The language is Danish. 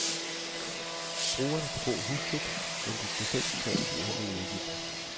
Brugerne kan bo huslejefrit, men skal selv betale de øvrige udgifter.